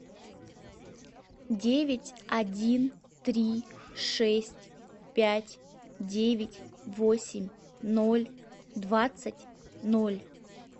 девять один три шесть пять девять восемь ноль двадцать ноль